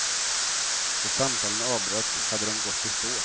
Då samtalen avbröts hade de gått i stå.